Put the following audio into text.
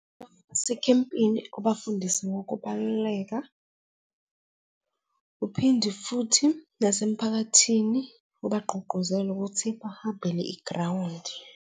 ekhempini, ubafundise ngokubaluleka, uphinde futhi nasemphakathini ubagqugquzela ukuthi bahambele igrawundi.